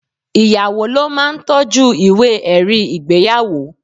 Ìyàwó ló ma ń toọ́jú ìwé ẹ̀rí ìgbéyàwó.